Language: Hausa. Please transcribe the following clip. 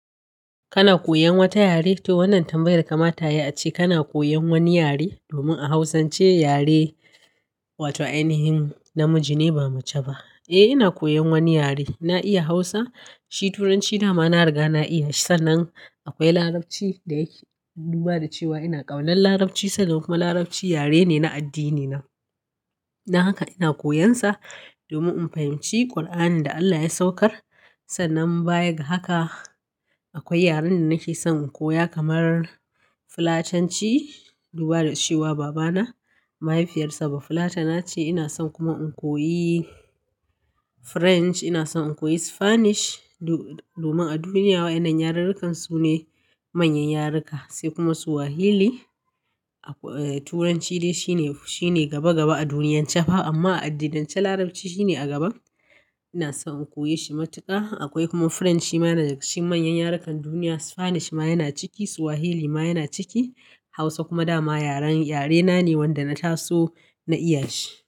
Kana koyan wata yare? To wannan tambayar kama tayi ace kana koyan wani yare domin a hausance yare wato ainihin namiji ne ba mace ba. Eh ina koyan wani yare na iya hausa, shi turanci dama na riga na iya sannan akwai larabci da yake duba da cewa ina ƙaunar larabci sannan kuma larabci yare ne na addini na. Don haka ina koyansa domin in fahimci ƙur'anin da Allah ya saukar sannan baya ga haka akwai yaren da nake son in koya kamar fulatanci duba da cewa baba na mahaifiyar sa ba fulatana ce ina son kuma in koyi french ina son in koyi spanish do-domin a duniya waɗannan yarukan sune manyan yaruka sai kuma swahili. Turanci dai shine, shine gaba gaba a duniyance fah amma a addininance larabci shine a gaba. Ina so in koyi shi matuƙa akwai kuma french shi ma yana cikin manyan yarukan duniya spanish ma yana ciki swahili ma yana ciki hausa kuma dama yarena ne wanda na taso na iya shi.